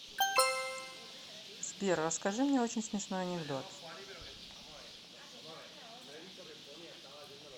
сбер расскажи мне очень смешной анекдот